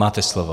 Máte slovo.